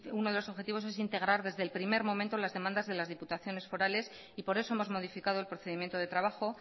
uno de los objetivos es integrar desde el primer momento las demandas de las diputaciones forales y por eso hemos modificado el procedimiento de trabajo